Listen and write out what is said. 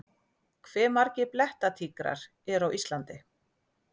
Hve margir blettatígrar eru á Íslandi?